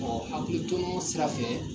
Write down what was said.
Ɔ hakiliro sira fɛ